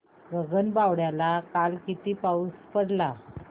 गगनबावड्याला काल किती पाऊस पडला